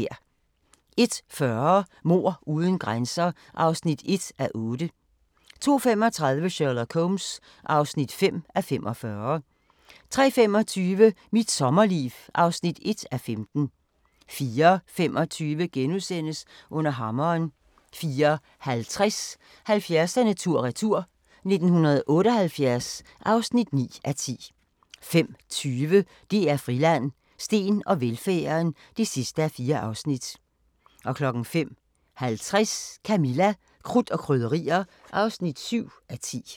01:40: Mord uden grænser (1:8) 02:35: Sherlock Holmes (5:45) 03:25: Mit sommerliv (1:5) 04:25: Under hammeren * 04:50: 70'erne tur-retur: 1978 (9:10) 05:20: DR Friland: Steen og velfærden (4:4) 05:50: Camilla – Krudt og Krydderier (7:10)